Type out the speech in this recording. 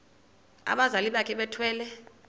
abazali bakhe bethwele